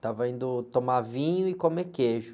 estava indo tomar vinho e comer queijo.